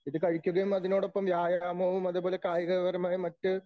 ഇതു കഴിക്കുകയും അതിനോടൊപ്പം വ്യായാമവും അതുപോലെ കായികപരമായ മറ്റ്